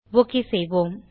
okay செய்வோம்